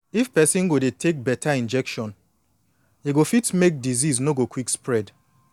if person go dey take beta injection e go fit make disease no go quick spread